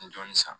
N ye dɔɔnin san